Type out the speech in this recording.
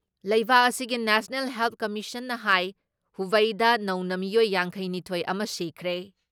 ꯂꯩꯕꯥꯛ ꯑꯗꯨꯒꯤ national help ꯀꯃꯤꯁꯟꯅ ꯍꯥꯏ ꯍꯨꯕꯩꯗ ꯅꯧꯅ ꯃꯤꯑꯣꯏ ꯌꯥꯡꯈꯩ ꯅꯤꯊꯣꯏ ꯑꯃ ꯁꯤꯈ꯭ꯔꯦ ꯫